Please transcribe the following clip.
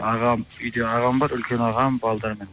ағам үйде ағам бар үлкен ағам балаларымен